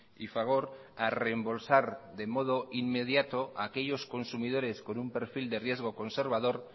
y fagor a reembolsar de modo inmediato aquellos consumidores con un perfil de riesgo conservador